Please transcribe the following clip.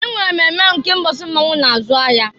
E nwere mmemme nke mbọsị mmọnwụ na-azụ ahịa.